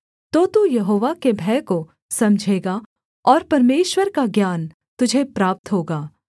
तो तू यहोवा के भय को समझेगा और परमेश्वर का ज्ञान तुझे प्राप्त होगा